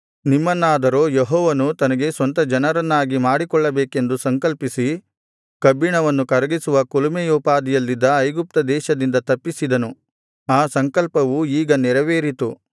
ನಿಮ್ಮನ್ನಾದರೋ ಯೆಹೋವನು ತನಗೆ ಸ್ವಂತ ಜನರನ್ನಾಗಿ ಮಾಡಿಕೊಳ್ಳಬೇಕೆಂದು ಸಂಕಲ್ಪಿಸಿ ಕಬ್ಬಿಣವನ್ನು ಕರಗಿಸುವ ಕುಲುಮೆಯೋಪಾದಿಯಲ್ಲಿದ್ದ ಐಗುಪ್ತದೇಶದಿಂದ ತಪ್ಪಿಸಿದನು ಆ ಸಂಕಲ್ಪವು ಈಗ ನೆರವೇರಿತು